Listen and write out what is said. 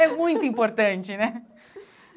É muito importante, né?